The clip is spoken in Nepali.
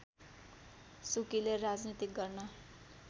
सुकीले राजनीति गर्न